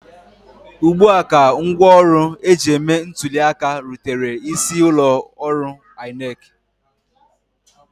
Ugbua ka ngwaọrụ eji eme ntụli aka rutere isi ụlọ ọrụ INEC